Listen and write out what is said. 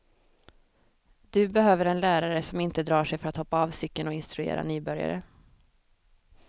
Du behöver en lärare som inte drar sig för att hoppa av cykeln och instruera nybörjare.